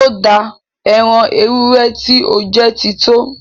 Ó dáa! Ẹ́ran èwúrẹ ti o ti jẹ́ ti to!